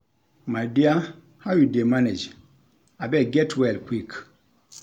My dear how you dey manage, abeg get well quick.